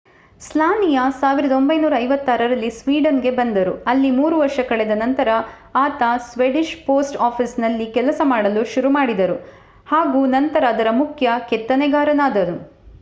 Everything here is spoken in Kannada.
ಸ್ಲಾನಿಯಾ 1956 ರಲ್ಲಿ ಸ್ವೀಡನ್ ಗೆ ಬಂದರು ಅಲ್ಲಿ 3 ವರ್ಷ ಕಳೆದ ನಂತರ ಆತ ಸ್ವೇಡಿಷ್ ಪೋಸ್ಟ್ ಆಫಿಸ್ ನಲ್ಲಿ ಕೆಲಸ ಮಾಡಲು ಶುರುಮಾಡಿದರು ಹಾಗೂ ನಂತರ ಅದರ ಮುಖ್ಯ ಕೆತ್ತನೆಗಾರನಾದನು